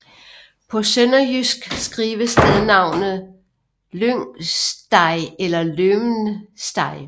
På sønderjysk skrives stednavnet Lyngstej eller Løvnstej